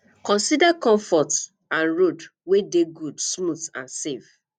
consider comfort and road wey dey good smooth and safe